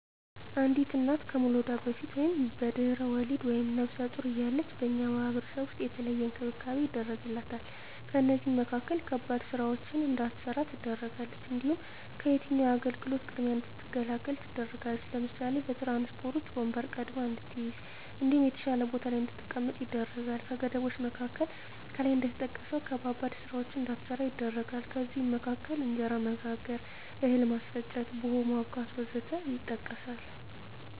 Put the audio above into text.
አንዲት እና ከመዉለዷ በፊት(በድሕረ ወሊድ)ወይም ነብሰ ጡር እያለች በእኛ ማህበረሰብ ዉስጥ የተለየ እንክብካቤ ይደረግላታል ከእነዚህም መካከል ከባድ ስራወችን እንዳትሰራ ትደረጋለች። እንዲሁም ከየትኛዉም አገልግሎት ቅድሚያ እንድትገለገል ትደረጋለች ለምሳሌ፦ በትራንስፖርት ዉስጥ ወንበር ቀድማ እንድትይዝ እንዲሁም የተሻለ ቦታ ላይ እንድትቀመጥ ይደረጋል። ከገደቦች መካከል ከላይ እንደተጠቀሰዉ ከባባድ ስራወችን እንዳትሰራ ይደረጋል ከእነዚህም መካከል እንጀራ መጋገር፣ እህል ማስፈጨት፣ ቡሆ ማቡካት ወዘተ ይጠቀሳል